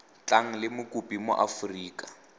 tlang le mokopi mo aforika